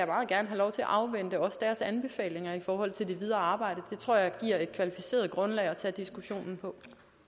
meget gerne have lov til at afvente deres anbefalinger i forhold til det videre arbejde det tror jeg giver et kvalificeret grundlag at tage diskussionen på